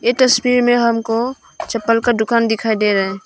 तस्वीर में हमको चप्पल का दुकान दिखाई दे रहा है।